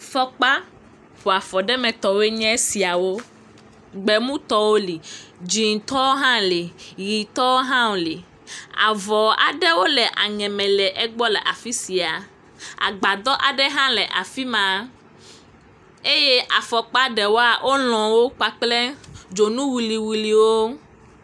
Fɔkpa ƒoafɔtɔwo nye esiawo, gbemutɔwo li, dzɛ̃tɔwo hã li, ʋɛ̃tɔwo hã li, avɔ aɖewo le aŋe me le egbɔ afi sia agbadɔ aɖe hã le afi ma eye afɔkpa ɖewoa, wolɔ wo kple dzonu wuliwuliwo.